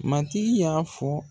Matigi y'an fɔ